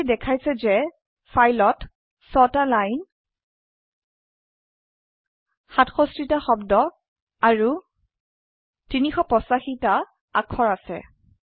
কমান্ডটি দেখাইছে যে ফাইলত ৬ টা লাইন ৬৭ টা শব্দ আৰু ৩৮৫ টি অাক্ষৰ আছে